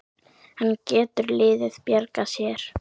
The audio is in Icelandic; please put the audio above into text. En getur liðið bjargað sér?